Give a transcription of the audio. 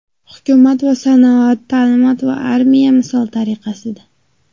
Hukumat va sanoat, ta’limot va armiya, misol tariqasida.